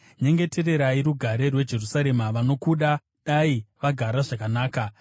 Nyengetererai rugare rweJerusarema: “Vanokuda dai vagara zvakanaka.